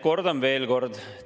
Kordan veel kord.